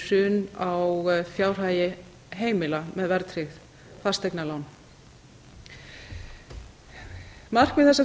hrun á fjárhagi heimila með verðtryggð fasteignalán markmið þessa frumvarps